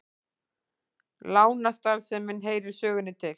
Lánastarfsemin heyrir sögunni til